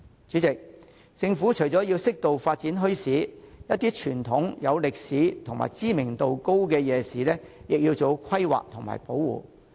主席，政府除了應適度發展墟市外，亦應為一些傳統、有歷史價值和知名度高的夜市做好規劃及保護。